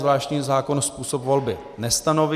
Zvláštní zákon způsob volby nestanoví.